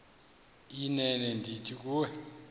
inene ndithi kuwe